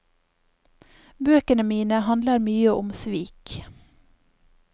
Bøkene mine handler mye om svik.